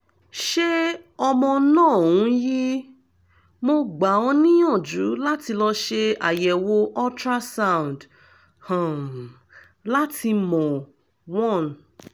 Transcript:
ṣé ọmọ náà ń yí? mo gbà ọ níyànjú láti lọ ṣe àyẹ̀wò ultrasound um láti mọ̀: one